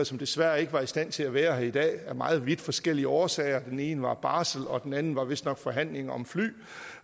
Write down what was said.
som desværre ikke var i stand til at være her i dag af meget vidt forskellige årsager den ene er på barsel og den anden var vistnok i forhandlinger om fly